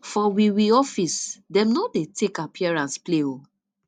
for we we office dem no dey take appearance play o